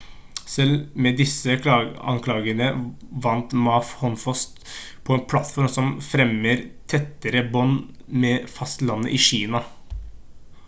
selv med disse anklagene vant ma håndfast på en plattform som fremmer tettere bånd med fastlandet i kina